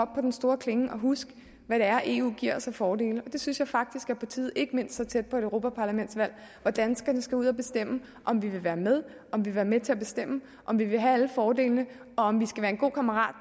på den store klinge og huske hvad det er eu giver os af fordele det synes jeg faktisk er på tide ikke mindst så tæt på et europaparlamentsvalg hvor danskerne skal ud at bestemme om vi vil være med om vi vil være med til at bestemme om vi vil have alle fordelene og om vi skal være en god kammerat